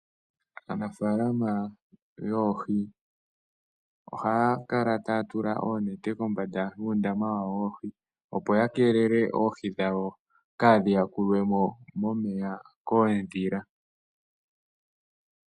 Aanafaalama yoohi ohaya kala taya tula oonete kombanda yuundama wawo woohi, opo ya keelele oohi dhawo kaadhi yakulwe mo momeya koondhila.